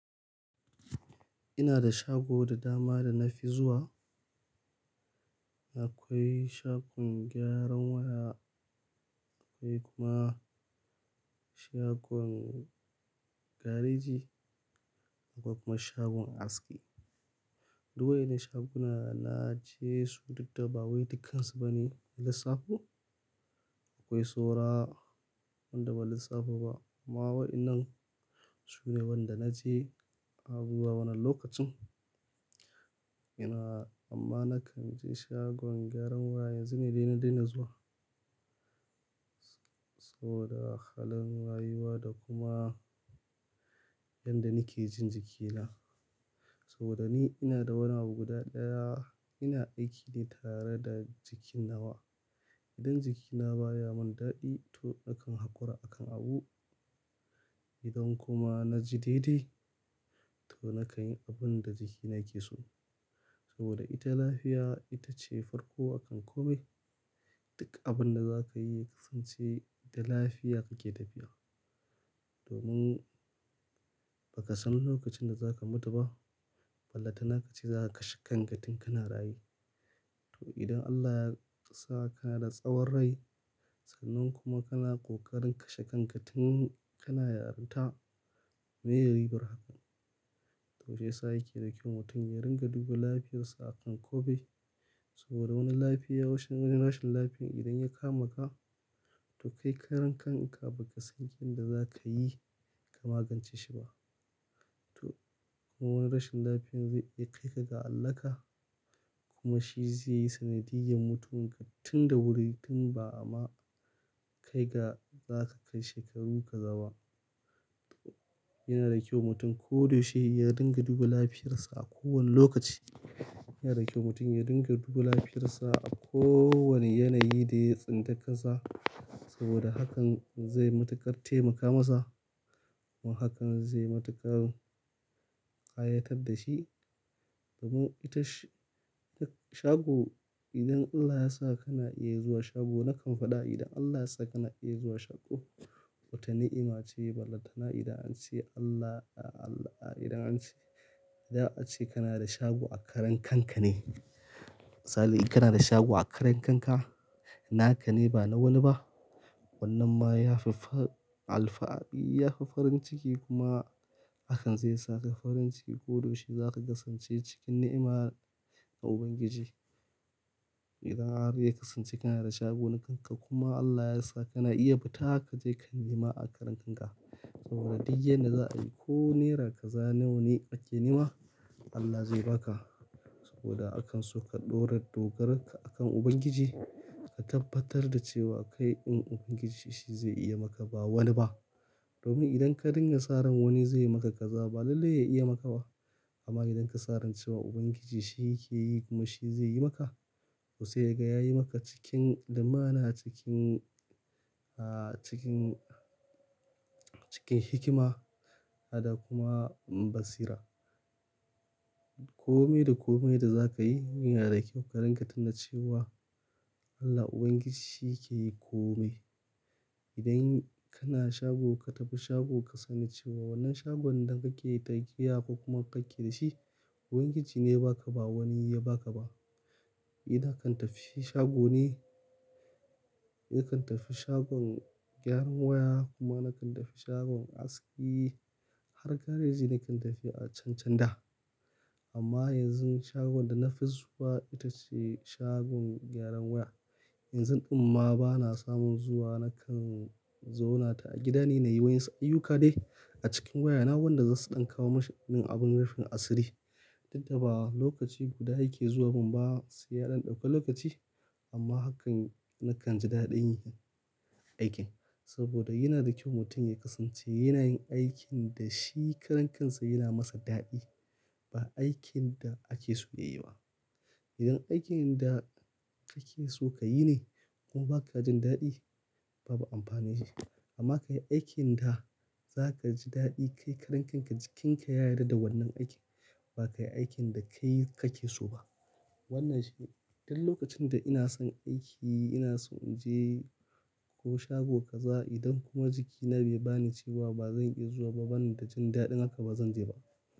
Ina da shago da dama da na fi zuwa. Akwai shagon gyaran waya, akwai kuma shagon gareji, akwai kuma shagon aski. Duk wa'innan shagunan na je su duk da, ba wai dukkan su bane na lissafo. Akwai saura wanda ban lissafo ba. Amma wa'inan su ne wanda na je abubuwa wannan lokacin. Ina-- amma na kan je shagon gyaran waya yanzu ne dai na daina zuwa. Saboda halin rayuwa da kuma yanda nake jin jikina. Saboda ni ina da wani abu guda ɗaya ina aiki ne tare da jiki nawa. Idan jikina baya mun daɗi to nakan haƙura akan abu. Idan kuma na ji daidai to na kan yi abun da jikina ke so. Saboda ita lafiya ita ce farko akan ko mai. Duk abun da za ka yi ya kasance da lafiya kake tafiya. Domin ba ka san lokacin da za ka mutu ba. Ballatana ka ce za ka kashe kanka tin kana raye. To idan Allah ya sa kana da tsawon rai sannan kuma kana ƙoƙarin kashe kanka tin kana yarinta, me ye ribar hakan? To shi yasa yake da kyau mutum ya ringa duba lafiyarsa akan kome. Saboda wani lafiya-- wani rashin lafiyan idan ya kama ka to kai karan kanka ba ka san yanda za ka yi ka magance shi ba. To kuma wani rashin lafiyan zai iya kai ka ga hallaka kuma shi zai yi sanadiyar mutuwarka tun da wuri tun ba ma kai ga za ka kai shekarun ka gaba. Yana da kyau mutum ko da shi ya dinga duba lafiyarsa a kowane lokaci. Yana da kyau mutum ya ringa duba lafiyarsa a kowane yanayi da ya tsinta kansa saboda hakan zai matuƙar taimaka masa kuma hakan zai matuƙar ƙayatar da shi. Domin ita sh-shago idan Allah ya sa kana iya zuwa shago na kan faɗa idan Allah ya sa kana iya zuwa shago, wata ni'ima ce ballatana idan an ce Allah-- idan an ce, idan an ce kana da shago a karan kanka ne. Misali kana da shago a karan kanka na ka ne ba na wani ba. Wannan ma ya fi fa-- alfani ya fi farin ciki kuma hakan zai sa ka farin ciki ko da yaushe za ka kasance cikin ni'ima ga Ubangiji. Idan har ya kasance kana da shago na kanka kuma Allah ya sa kana iya fita ka je ka nema a karan kanka. Duk yadda za a yi ko Naira kaza nawa ne ake nema Allah zai ba ka. Saboda akan so ka ɗora dogaronka akan Ubangiji ka tabbatar da cewa kai ɗin Ubangiji shi zai iya maka ba wani ba. Domin idan ka dinga sa ran wani zai yi maka kaza ba lallai ya iya maka ba. Amma mu rinƙa saran cewa Ubangiji shi yake yi kuma shi zai yi maka to sai ga ya yi maka cikin limana, cikin, ah, cikin, cikin hikima ada kuma basira. Komai da komai da za ka yi yana da kyau ka rinƙa tuna cewa Allah Ubangiji shi yake yi komai. Idan kana shago ka tafi shago ka sani cewa wannan shagon da kake yi tutiya ko kuma kake da shi Ubangiji ne ya ba ka ba wani ya ba ka ba. Ni na kan tafi shago ne, ni na kan tafi shagon gyaran waya kuma na kan tafi shagon aski har gareji na kan tafi a can can da. Amma yanzu shagon da na fi zuwa ita ce shagon gyaran waya. Yanzu ɗumma bana samun zuwa na kan zauna ta a gida ne na yi wa'insu ayyuka dai a cikin wayana wanda zasu ɗan kawo mashi abin rufin asiri. Duk da ba lokaci guda yake zuwa min ba sai ya ɗan ɗauka lokaci amma hakan na kan ji daɗin yin aikin. Saboda yana da kyau mutum ya kasance yana yin aikin da shi karan kansa yana masa daɗi ba aikin da ake so ya yi ba. Idan aikin da ake so ka yi ne kuma ba ka jin daɗi babu amfani da hakan. Amma ka yi aikin da za ka ji daɗi kai karan kanka jikinka ya yarda da wannan aikin ba ka yi aikin da kai kake so ba. Wannan shi ne. Duk lokacin da ina son aiki ina so in je ko shago kaza idan kuma jikina bai bani cewa ba zan iya zuwa ba bana da jin daɗin haka ba zan je ba.